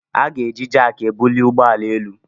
A na-eji Jack ebuli ụgbọ ala elu